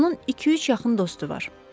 Onun iki-üç yaxın dostu var.